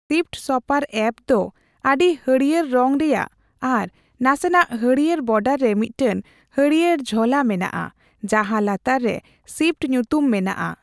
Shift ᱥᱚᱯᱟᱨ ᱮᱯᱫᱚ ᱟᱹᱰᱤ ᱦᱟᱹᱲᱭᱟᱹᱨ ᱨᱚᱝ ᱨᱮᱭᱟᱜ ᱟᱨ ᱱᱟᱥᱮᱱᱟᱜ ᱦᱟᱹᱲᱭᱟᱹᱨ ᱵᱚᱰᱟᱨ ᱨᱮ ᱢᱤᱫᱴᱟᱝ ᱦᱟᱹᱲᱭᱟᱹᱭ ᱡᱷᱚᱞᱟ ᱢᱮᱱᱟᱜᱼᱟ, ᱡᱟᱦᱟ ᱞᱟᱛᱟᱨ ᱨᱮ ᱥᱤᱯᱴ ᱧᱩᱛᱩᱢ ᱢᱮᱱᱟᱜᱼᱟ ᱾